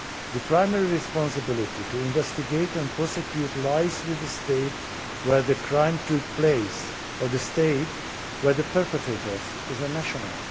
The primary responsibility for investigating and prosecuting lies with the state where the crime took place or the state where the perpetrator is a national.